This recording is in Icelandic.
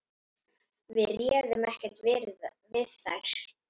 Við réðum ekkert við þær.